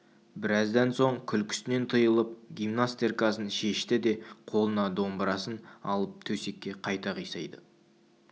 біраздан соң күлкісінен тыйылып гимнастеркасын шешті де қолына домбырасын алып төсекке қайта қисайды